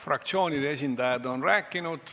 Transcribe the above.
Fraktsioonide esindajad on rääkinud.